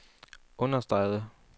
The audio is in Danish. understregede